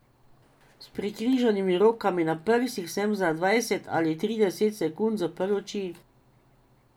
S prekrižanimi rokami na prsih sem za dvajset ali trideset sekund zaprl oči.